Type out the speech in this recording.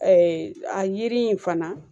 a yiri in fana